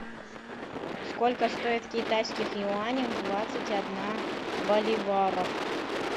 сколько стоит в китайских юанях двадцать одна боливаров